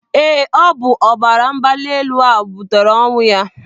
Eé, ọ bụ ọbara mgbali elu ahụ butere ọnwụ ya.